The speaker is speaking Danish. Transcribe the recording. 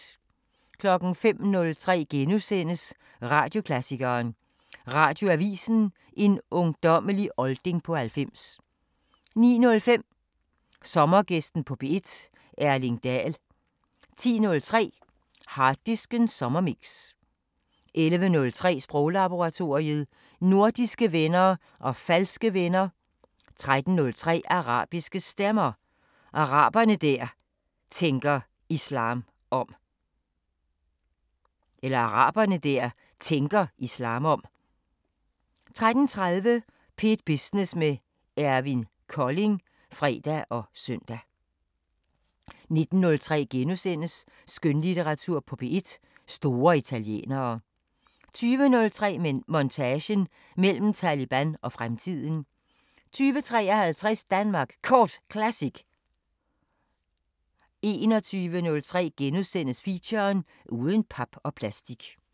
05:03: Radioklassikeren: Radioavisen – en ungdommelig olding på 90 * 09:05: Sommergæsten på P1: Erling Daell 10:03: Harddisken sommerremix 11:03: Sproglaboratoriet: Nordiske venner og falske venner 13:03: Arabiske Stemmer: Arabere der tænker islam om 13:30: P1 Business med Eivind Kolding (fre og søn) 19:03: Skønlitteratur på P1: Store italienere * 20:03: Montage: Mellem Taleban og fremtiden 20:53: Danmark Kort Classic 21:03: Feature: Uden pap og plastik *